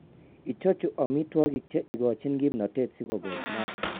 Ichuchuch amitwogik che ikochin kimnatet si kobos maat.